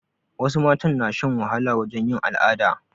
Wasu matan na shan wahala wajen yin al'ada